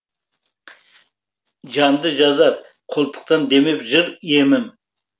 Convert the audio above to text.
жанды жазар қолтықтан демеп жыр емім